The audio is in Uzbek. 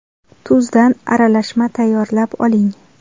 Tuzdan aralashma tayyorlab oling.